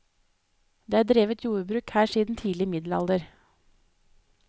Det er drevet jordbruk her siden tidlig middelalder.